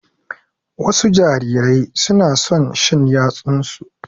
Wasu jarirai su na son shan yatsunsu.